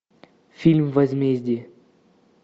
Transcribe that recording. фильм возмездие